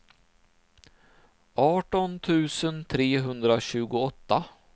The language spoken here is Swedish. arton tusen trehundratjugoåtta